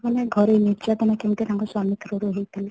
ମାନେ ଘରେ ତାଙ୍କୁ ନିର୍ଯାତନା କେମିତି ତାଙ୍କ ସ୍ୱାମୀ ଙ୍କ through ରୁ ହେଇଥିଲା